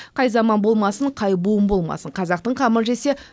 қай заман болмасын қай буын болмасын қазақтың қамын жесе